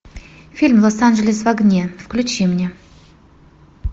фильм лос анджелес в огне включи мне